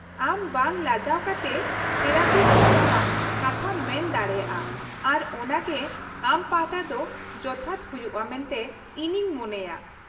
-ᱟᱢ ᱵᱟᱝ ᱞᱟᱡᱟᱣ ᱠᱟᱛᱮ ᱛᱷᱮᱨᱟᱯᱤᱥᱴ ᱥᱟᱞᱟᱜ ᱠᱟᱛᱷᱟᱢ ᱢᱮᱱ ᱫᱟᱲᱮᱭᱟᱜᱼᱟ ᱟᱨ ᱚᱱᱟᱜᱮ ᱟᱢ ᱯᱟᱦᱴᱟ ᱫᱚ ᱡᱚᱛᱷᱟᱛ ᱦᱩᱭᱩᱜᱼᱟ ᱢᱮᱱᱛᱮ ᱤᱧᱤᱧ ᱢᱚᱱᱮᱭᱟᱜ ᱾